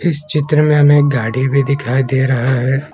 इस चित्र में हमें एक गाड़ी भी दिखाई दे रहा है।